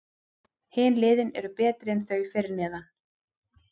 Hin liðin eru betri en þau fyrir neðan.